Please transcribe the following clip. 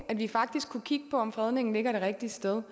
at vi faktisk kunne kigge på om fredningen ligger det rigtige sted